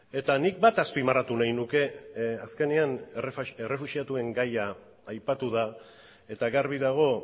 eta nik bat azpimarratu nahi nuke azkenean errefuxiatuen gaia aipatu da eta garbi dago